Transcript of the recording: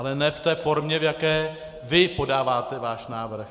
Ale ne v té formě, v jaké vy podáváte svůj návrh.